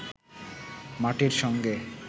মাটির সঙ্গে